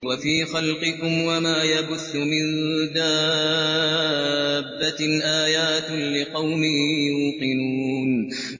وَفِي خَلْقِكُمْ وَمَا يَبُثُّ مِن دَابَّةٍ آيَاتٌ لِّقَوْمٍ يُوقِنُونَ